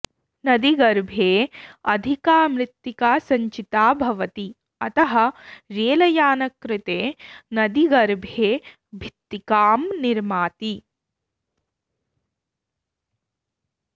नदीगर्भे अधिका मृत्तिका सञ्चिता भवति अतः रेलयानकृते नदीगर्भे भित्तिकां निर्माति